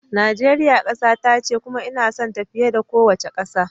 Najeriya kasata ce kuma ina sonta fiye da kowace kasa